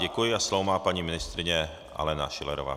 Děkuji a slovo má paní ministryně Alena Schillerová.